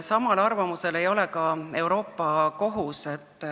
Samal arvamusel ei ole ka Euroopa Kohus.